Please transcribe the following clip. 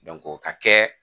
o ka kɛ